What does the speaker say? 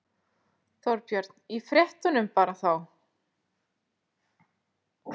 Þorbjörn: Í fréttunum bara þá?